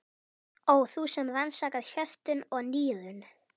Ó þú sem rannsakar hjörtun og nýrun.